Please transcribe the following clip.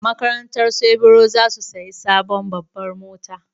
Makarantarsu Ibro za su sayi sabon babbar mota.